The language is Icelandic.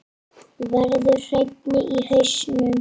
Verður hreinni í hausnum.